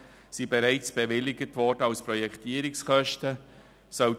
100 000 Franken wurden bereits als Projektierungskosten bewilligt.